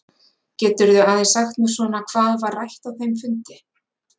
Geturðu aðeins sagt mér svona hvað var rætt á þeim fundi?